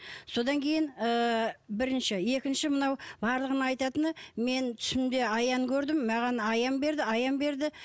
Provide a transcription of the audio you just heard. содан кейін ы бірінші екінші мынау барлығының айтатыны мен түсімде аян көрдім маған аян берді аян берді